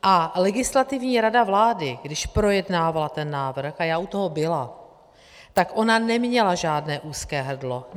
A Legislativní rada vlády, když projednávala ten návrh, a já u toho byla, tak ona neměla žádné úzké hrdlo.